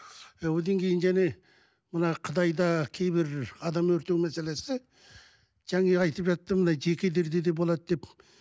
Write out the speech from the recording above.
і одан кейін және мына қытайда кейбір адам өртеу мәселесі жаңа айтып жатты мына жекелерде де болады деп